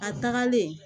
A tagalen